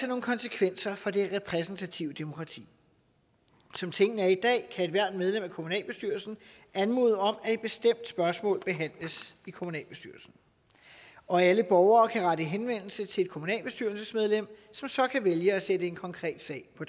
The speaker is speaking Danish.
nogle konsekvenser for det repræsentative demokrati som tingene er i dag kan ethvert medlem af kommunalbestyrelsen anmode om at et bestemt spørgsmål behandles i kommunalbestyrelsen og alle borgere kan rette henvendelse til et kommunalbestyrelsesmedlem som så kan vælge at sætte en konkret sag på